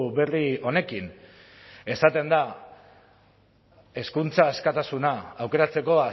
berri honekin esaten da hezkuntza askatasuna aukeratzeko